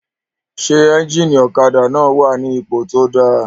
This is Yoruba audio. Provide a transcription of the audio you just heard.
Ṣé éjìnì ọ̀kadà náà wà ní ipò tó dáa?